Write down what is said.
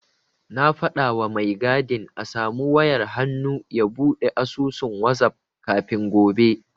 Na faɗawa mai gadin a samu wayar hannu ya buɗe asusun wazaf kafin gobe.